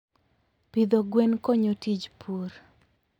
Pidho gwen konyo tij pur.